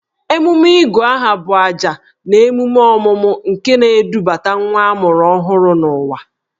Emume Ịgụ aha bụ ajà na emume ọmụmụ nke na-edubata nwa ọhụrụ n'ụwa.